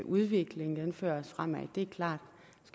udviklingen fører os fremad det er klart